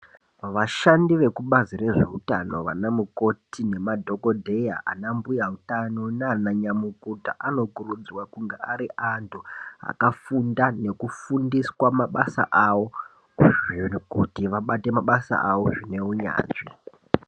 Vashandi veku bazi rezve utano vana mukoti nema dhokodheya ana mbuya utano nana nyamukuta ano kurudzirwa kunge ari antu akafunda neku fundiswa mabasa awo kuti abate mabasa awo zvine unyanzvi.